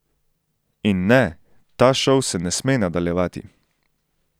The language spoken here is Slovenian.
In ne, ta šov se ne sme nadaljevati!